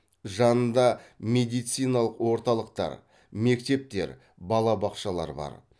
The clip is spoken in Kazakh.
жанында медициналық орталықтар мектептер балабақшалар бар